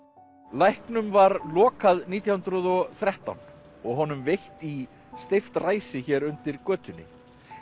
læknum var lokað nítján hundruð og þrettán og honum veitt í steypt ræsi hér undir götunni